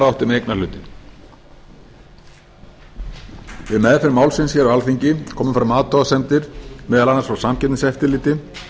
átti með eignarhlutinn við meðferð málsins hér á alþingi komu fram athugasemdir meðal annars frá samkeppniseftirliti um